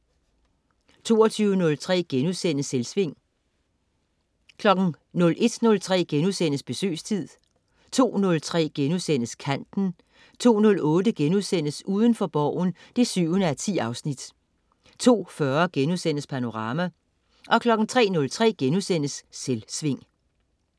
22.03 Selvsving* 01.03 Besøgstid* 02.03 Kanten* 02.08 Udenfor Borgen 7:10* 02.40 Panorama* 03.03 Selvsving*